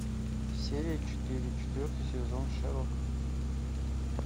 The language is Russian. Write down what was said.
серия четыре четвертый сезон шерлок